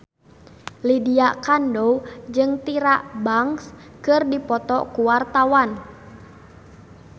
Lydia Kandou jeung Tyra Banks keur dipoto ku wartawan